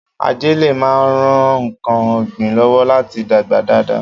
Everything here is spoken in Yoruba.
Ajẹ́lẹ̀ máa ń ran ǹkan ọ̀gbìn lọ́wọ́ láti dàgbà dáadáa